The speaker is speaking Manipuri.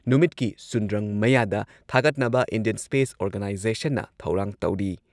ꯅꯨꯃꯤꯠꯀꯤ ꯁꯨꯟꯗ꯭ꯔꯪ ꯃꯌꯥꯗ ꯊꯥꯒꯠꯅꯕ ꯏꯟꯗꯤꯌꯟ ꯁ꯭ꯄꯦꯁ ꯑꯣꯔꯒꯥꯅꯥꯏꯖꯦꯁꯟꯅ ꯊꯧꯔꯥꯡ ꯇꯧꯔꯤ ꯫